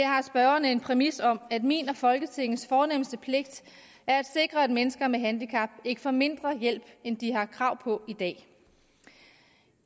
har spørgerne en præmis om at min og folketingets fornemste pligt er at sikre at mennesker med handicap ikke får mindre hjælp end de har krav på i dag